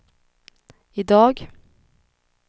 idag